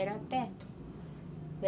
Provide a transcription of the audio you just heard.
Era perto.